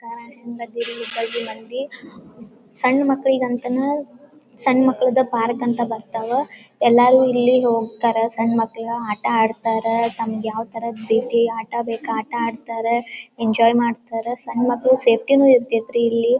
ಅಹ್ ಹೆಂಗದ್ದೀರಿ ಹುಬ್ಬಳ್ಳಿ ಮಂದಿ? ಸಣ್ಣ ಮಕ್ಕಳಿಗಂತನ ಸಣ್ಣ ಮಕ್ಕಳದ ಪಾರ್ಕ್ ಅಂತ ಬರ್ತಾವ ಎಲ್ಲಾರು ಇಲ್ಲಿ ಹೋಗ್ತಾರ ಸಣ್ಣ ಮಕ್ಕಳ ಆಟ ಆಡ್ತಾರ ತಮ್ಗ ಯಾವ ಥರದ್ ರೀತಿ ಆಟ ಬೇಕ್ ಆ ಆಟ ಆಡ್ತಾರ ಎಂಜಾಯ್ ಮಾಡ್ತಾರ ಸಣ್ಣ ಮಕ್ಕಳು ಸೇಪ್ಟಿ ನು ಇರ್ತೈತ್ರಿ ಇಲ್ಲಿ. .